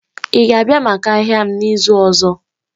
Ị ga-abịa maka ahịa m n'izu ọzọ?